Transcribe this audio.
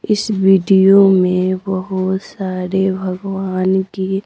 इस वीडियो में बहुत सारे भगवान की--